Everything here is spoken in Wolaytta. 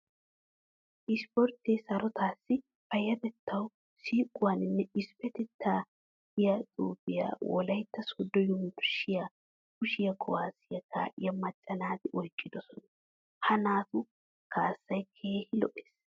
Ispporttee sarotaassi, payyatettaw, siiquwawunne issippetettawu giya xuufiya Wolaytta Sooddo Yunbburshshiyan kushiya kuwaasiya kaa'iya macca naati oyqqidosona. Ha naatu kaassay keehi lo"ees.